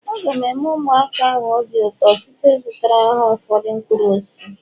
Aga m eme ụmụaka ahụ obi ụtọ site n'ịzụtara ha ụfọdụ mkpụrụ osisi